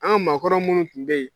An ka maakɔrɔw minnu tun bɛ yen